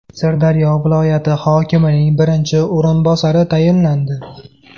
Sirdaryo viloyati hokimining birinchi o‘rinbosari tayinlandi.